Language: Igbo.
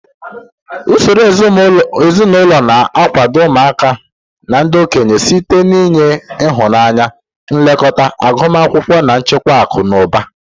Usoro ezinụlọ na-akwado ụmụaka na ndị okenye site n'inye ịhụnanya, nlekọta, agụmakwụkwọ, na nchekwa akụ na ụba.